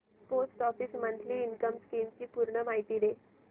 post office monthly income scheme ची पूर्ण माहिती दाखव